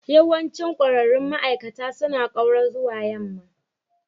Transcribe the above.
Yawancin ƙwararrun ma'aikata suna ƙaura zuwa yamma.